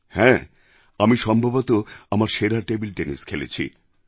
হ্যাঁ আমি সম্ভবতঃ আমার সেরা টেবিল টেনিস খেলেছি